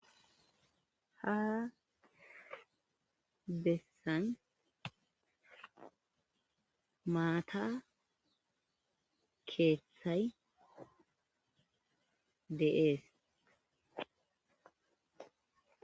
ha bessan maata keeththay dee'es